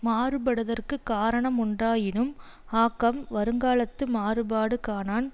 மாறுபடுதற்குக் காரண முண்டாயினும் ஆக்கம் வருங்காலத்து மாறுபாடு காணான்